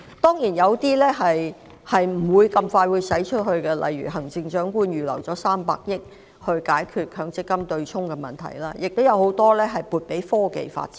當然，部分開支不會很快便出現，例如行政長官預留了300億元解決強積金對沖的問題，亦把很多資源撥給科技發展。